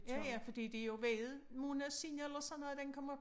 Ja ja fordi det er jo hvad måneder siden eller sådan noget den kom op